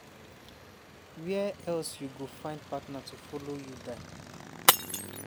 wia else you go find partner to follow you die.